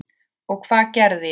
Og hvað gerði ég?